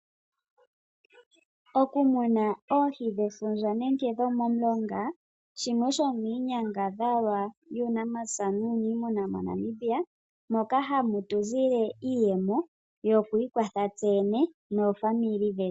Okumuna oohi shefundja nenge dhomomulonga shimwe shomiinyangadhalwa yuunamapya nuuniimuna moNamibia moka hamu tuzile iiyemo yokwiikwatha tse yene noofamili dhetu.